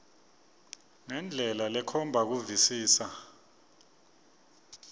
ngendlela lekhomba kuvisisa